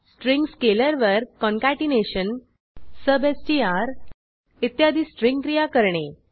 string स्केलरवर concatenation substrइत्यादी string क्रिया करणे